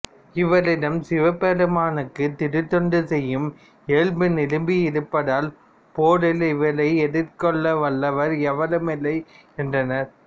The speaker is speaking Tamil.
இவரிடம் சிவபெருமானுக்குத் திருத்தொண்டு செய்யும் இயல்பு நிரம்பியிருப்பதால் போரில் இவரை எதிர்க்கவல்லார் எவருமில்லை என்றனர்